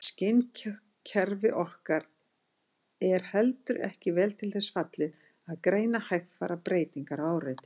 Skynkerfi okkar er heldur ekki vel til þess fallið að greina hægfara breytingar á áreiti.